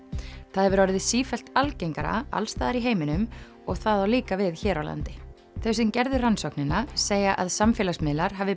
það hefur orðið sífellt algengara alls staðar í heiminum og það á líka við hér á landi þau sem gerðu rannsóknina segja að samfélagsmiðlar hafi